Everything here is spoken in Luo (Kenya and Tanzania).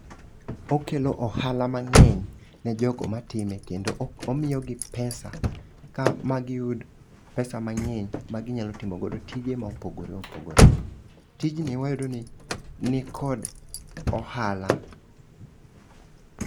Okelo ohala mang'eny ne jogo matime kendo o omiyo gi pesa ka magi yud pesa mang'eny ma ginyalo timo godo tije mopogore opogore, tijni emiyudo ni nikod ohala.